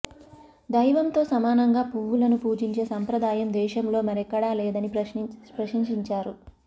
దైవంతో సమానంగా పువ్వులను పూజించే సంప్రదాయం దేశంలో మరెక్కడా లేదని ప్రశంసించారు